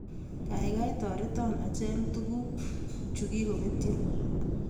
Kaikai toreton acheng' tuguk chuk chekipetyo